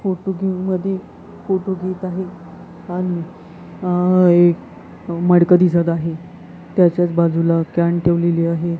Photo घेऊन मधी photo घेत आहे आणि अह एक मडकं दिसत आहे त्याच्याच बाजूला कॅन ठेवलेली आहे.